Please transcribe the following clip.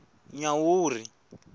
nyawuri